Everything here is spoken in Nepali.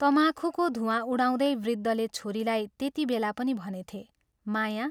तमाखुको धूवाँ उडाउँदै वृद्धले छोरीलाई त्यति बेला पनि भनेथे, " माया!